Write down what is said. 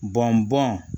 Bɔn bɔn